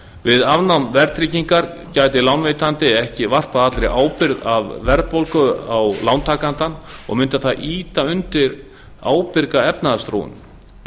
við afnám verðtryggingar gæti lánveitandi ekki varpað allri ábyrgð af verðbólgu á lántakandann og mundi það ýta undir ábyrga efnahagsþróun við